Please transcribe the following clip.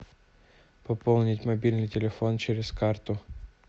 пополнить мобильный телефон через карту